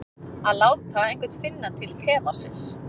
Að láta einhvern finna til tevatnsins